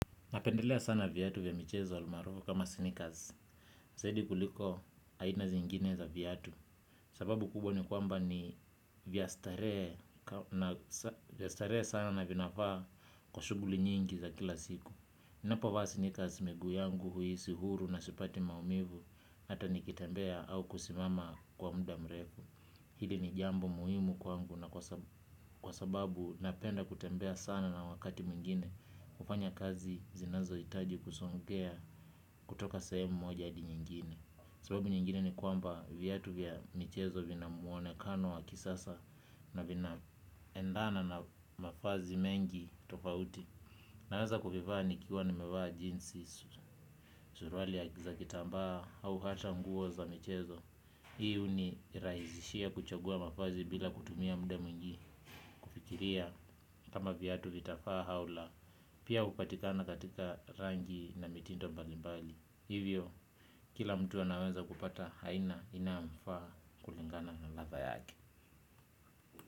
Napendelea sana viatu vya michezo almaarufu kama snikaz. Zaidi kuliko aina zingine za viatu. Sababu kubwa ni kwamba ni vya starehe vya starehe sana na vinafaa kwa shughuli nyingi za kila siku. Napovaa snikaz miguu yangu huhisi huru na sipati maumivu. Hata nikitembea au kusimama kwa mda mrefu. Hili ni jambo muhimu kwangu na kwa sababu napenda kutembea sana na wakati mwingine. Kufanya kazi zinazohitaji kusongea kutoka sehemu moja hadi nyingine. Sababu nyingine ni kwamba viatu vya michezo vina muonekano wa kisasa. Na vinaendana na mavazi mengi tofauti. Naweza kuvivaa nikiwa nimevaa jinsi, suruali za kitambaa au hata nguo za michezo. Hii unirahisishia kuchagua mavazi bila kutumia mda mwingi. Kufikiria kama viatu vitafaa au la pia upatikana katika rangi na mitindo mbali mbali. Hivyo kila mtu anaweza kupata haina inayomfa kulingana na ladha yake.